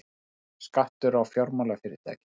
Skattur á fjármálafyrirtæki